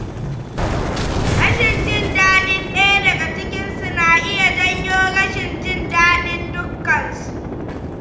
Rashin jin daɗin ɗaya daga cikin su, na iya janyo rashin jin daɗin dukkansu